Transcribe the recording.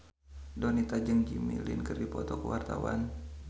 Donita jeung Jimmy Lin keur dipoto ku wartawan